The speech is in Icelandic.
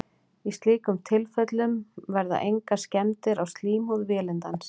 í slíkum tilfellum verða engar skemmdir á slímhúð vélindans